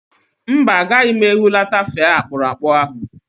Mba, agaghị m ehulata fee akpụrụakpụ ahụ